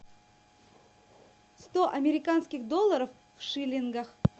сто американских долларов в шиллингах